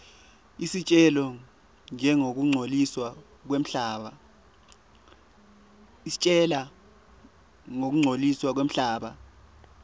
isitjela ngekungcoliswa kwemhlaba